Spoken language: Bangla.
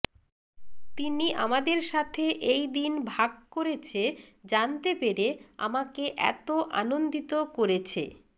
তিনি আমাদের সাথে এই দিন ভাগ করেছে জানতে পেরে আমাকে এত আনন্দিত করেছে